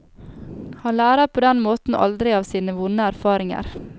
Han lærer på den måten aldri av sine vonde erfaringer.